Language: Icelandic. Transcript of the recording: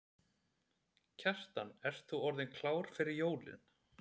Kjartan, ert þú orðinn klár fyrir jólin?